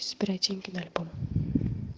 собирать деньги на альбом